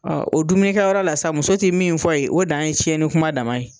Ɔn o dumkɛyɔrɔ la sa, muso te min fɔ ye o dan ye tiɲɛni kuma dan ye.